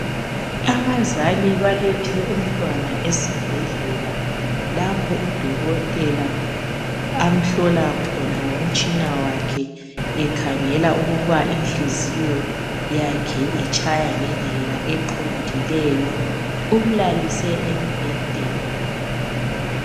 Abazali balethe umntwana esibhedlela lapho udokotela amhlola khona ngomtshina wakhe ekhangela ukuba inhliziyo yakhe itshaya ngendlela eqondileyo. Umlalise embhedeni.